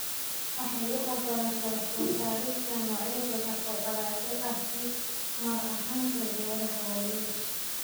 Waxay u ogolaataa soo saarista noocyo badan oo dalagyo ah isla mar ahaantaana beeraha waaweyn.